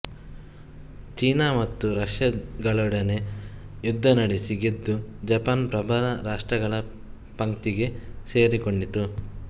ಚೀನ ಮತ್ತು ರಷ್ಯಗಳೊಡನೆ ಯುದ್ಧ ನಡೆಸಿ ಗೆದ್ದು ಜಪಾನ್ ಪ್ರಬಲ ರಾಷ್ಟ್ರಗಳ ಪಂಕ್ತಿಗೆ ಸೇರಿಕೊಂಡಿತು